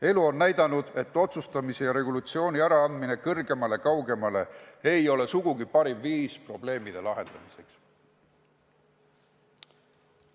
Elu on näidanud, et otsustusõiguse ja regulatsiooni äraandmine kõrgemale ja kaugemale ei ole sugugi parim viis probleemide lahendamiseks.